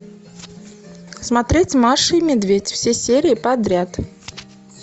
смотреть маша и медведь все серии подряд